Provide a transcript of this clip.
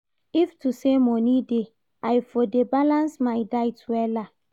If to say money dey, I for dey balance my diet wella